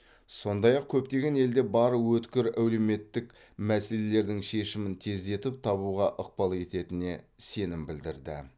сондай ақ көптеген елде бар өткір әлеуметтік мәселелердің шешімін тездетіп табуға ықпал ететіне сенім білдірді